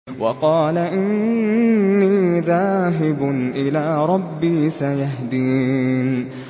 وَقَالَ إِنِّي ذَاهِبٌ إِلَىٰ رَبِّي سَيَهْدِينِ